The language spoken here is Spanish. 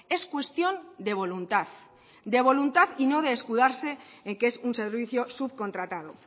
es cuestión de voluntad de voluntad y no de escudarse en que es un servicio subcontratado